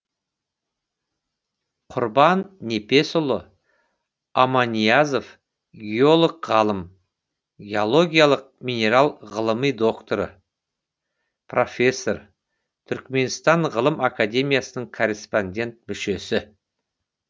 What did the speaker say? құрбан непесұлы аманиязов геолог ғалым геологиялық минерал ғылыми докторы профессор түрікменстан ғылым академиясының корреспондент мүшесі